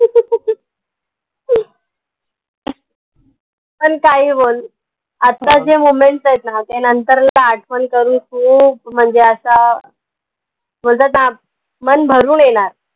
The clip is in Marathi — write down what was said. पन काही बोल आता जे आहेत ना ते नंतर आठवन करून खूप म्हनजे असा म्हनतात ना मन भरून येनार